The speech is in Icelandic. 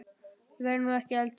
Ég verð nú ekki eldri!